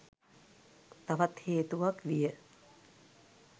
තවත් හේතුවක් විය.